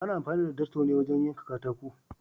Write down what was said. Ana amfani da darto ne wurin yanka katako.